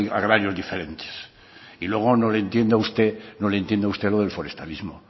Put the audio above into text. agrarios diferentes y luego no le entiendo a usted no le entiendo a usted lo del forestalismo